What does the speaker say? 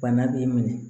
Bana b'i minɛ